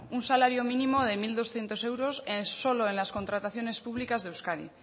un salario mínimo de mil doscientos euros solo en las contrataciones públicas de euskadi